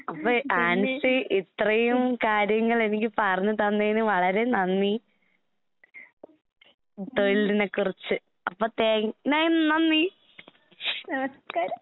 നമസ്കാരം.